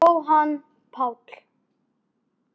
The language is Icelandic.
Jóhann Páll